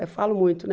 Eu falo muito, né?